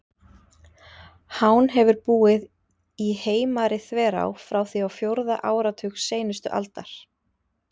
Hán hefur búið í Heimari-þverá frá því á fjórða áratug seinustu aldar.